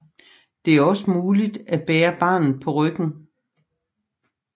Det er også muligt at bære barnet på ryggen